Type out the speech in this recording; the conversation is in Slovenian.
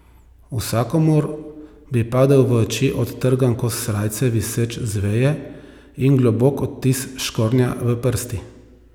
Vsakomur bi padel v oči odtrgan kos srajce, viseč z veje, in globok odtis škornja v prsti.